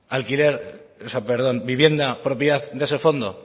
vivienda propiedad de ese fondo